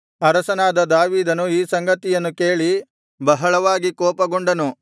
ಅರಸನಾದ ದಾವೀದನು ಈ ಸಂಗತಿಯನ್ನು ಕೇಳಿ ಬಹಳವಾಗಿ ಕೋಪಗೊಂಡನು